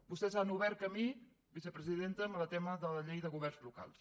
vostès han obert camí vicepresidenta amb el tema de la llei de governs locals